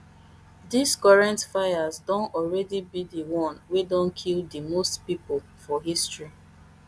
dis current fires don alreadi be di one wey don kill di most pipo for history